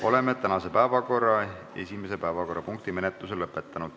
Oleme tänase päevakorra esimese päevakorrapunkti menetluse lõpetanud.